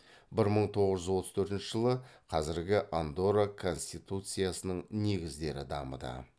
бір мың тоғыз жүз отыз төртінші жылы қазіргі андорра конституциясының негіздері дамыды